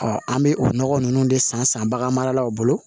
an bɛ o nɔgɔ ninnu de san san bagan maralaw bolo